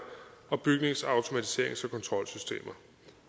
og bygningsautomatiserings og kontrolsystemer